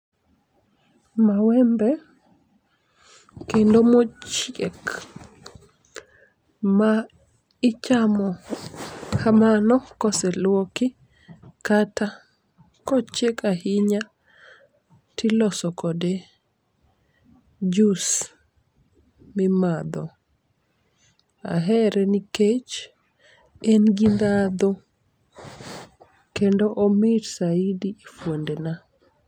Mawembe, kendo mochiek maichamo kamano koseluoki, kata kochiek ahinya, tiloso kode jus mimadho. Ahere nikech en gi ndhadho, kendo omit saidi e fuondena.